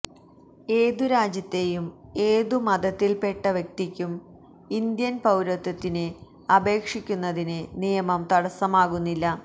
ഏതു രാജ്യത്തെയും ഏതു മതത്തിൽപ്പെട്ട വ്യക്തിക്കും ഇന്ത്യൻ പൌരത്വത്തിന് അപേക്ഷിക്കുന്നതിന് നിയമം തടസ്സമാകുന്നില്ല